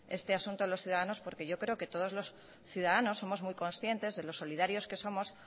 este asunto en los ciudadanos porque yo creo que todos los ciudadanos somos muy conscientes de lo solidarios que somos